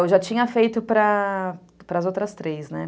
É, eu já tinha feito para para as outras três, né?